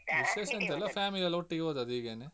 ವಿಶೇಷ ಎಂತ ಇಲ್ಲ family ಎಲ್ಲ ಒಟ್ಟಿಗೆ ಹೋದದ್ದು ಹೀಗೇನೆ.